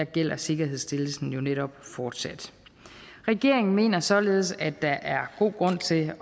gælder sikkerhedsstillelsen jo netop fortsat regeringen mener således at der er god grund til at